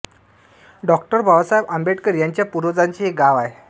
डॉ बाबासाहेब आंबेडकर यांच्या पूर्वजांचे हे गाव आहे